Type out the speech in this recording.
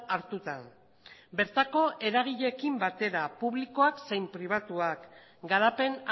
hartuta bertako eragileekin batera publikoak zein pribatuak garapen